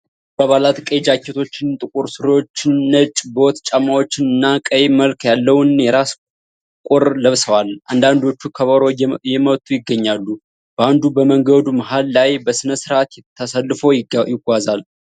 የባንዱ አባላት ቀይ ጃኬቶችን፣ ጥቁር ሱሪዎችን፣ ነጭ ቦት ጫማዎችን እና ቀይ መልክ ያለውን የራስ ቁር ለብሰዋል። አንዳንዶቹ ከበሮ እየመቱ ይገኛሉ። ባንዱ በመንገዱ መሀል ላይ በስነ-ስርዓት ተሰልፎ ይጓዛል።